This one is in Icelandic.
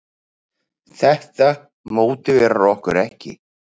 Þetta mótiverar okkur ekki.